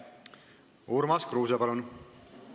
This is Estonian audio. Urmas Kruuse, palun!